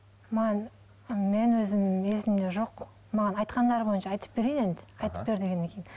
маған мен өзімнің есімде жоқ маған айтқандары бойынша айтып берейін енді айтып бер дегеннен кейін